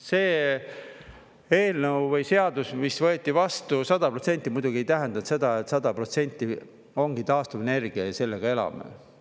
See eelnõu või seadus, mis võeti vastu … 100% muidugi ei tähenda seda, et 100% ongi taastuvenergia ja sellega elame.